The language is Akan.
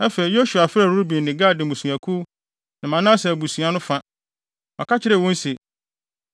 Afei Yosua frɛɛ Ruben ne Gad mmusuakuw ne Manase abusua no fa. Ɔka kyerɛɛ wɔn se,